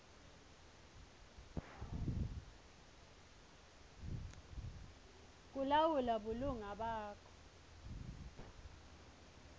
kulawula bulunga bakho